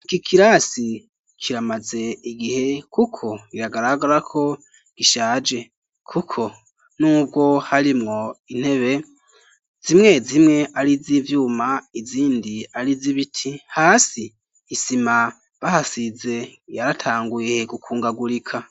Iki kirasi kiramaze igihe kuko biragaragarako gishaje kuko n'ubwo harimwo intebe zimwe zimwe ari iz'ivyuma izindi ari iz'ibiti ,hasi isima bahasize yaratanguye gukungagurika.